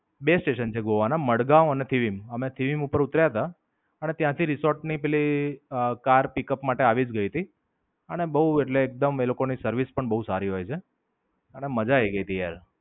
બે સ્ટેશન છે ગોવા ના મડગાંવ અને થીડીમ. અમે થીડીમ ઉપર ઉતર્યા તા અને ત્યાંથી રિસોર્ટ ની પેલી કાર Pickup માટે આવી જ ગઈ તી. અને બોવ એટલે એકદમ એ લોકો ની સર્વિસ પણ બોવ સારી હોય છે. અને મજા આયી ગઈ તી યાર.